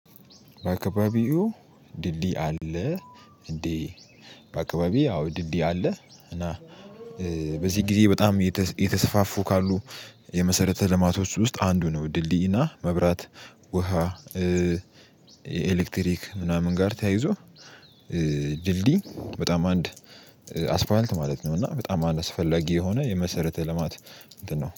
በአካባቢው ድልድይ አለ እንዴ? በአካባቢው ያው ድልድይ አለ። እና በዚህ ጊዜ በጣም የተሰፋፉ ካሉ የመሰረተ ልማቶች ውስጥ አንዱ ነው ድልድይና መብራት ውሃ ኤሌክትሪክ ምናምን ጋር ተያይዞ። ድልድይ በጣም አንድ አስፓልት ማለት ነው። እና በጣም አስፈላጊ የሆነ የመሰረተ ልማት እንትን ነው